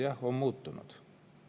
Jah, on muutunud.